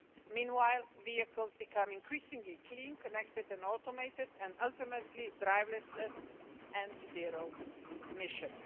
Meanwhile, vehicles are becoming increasingly clean, connected and automated, and ultimately driverless and zero-emissions.